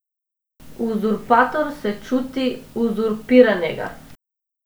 Uzurpator se čuti uzurpiranega.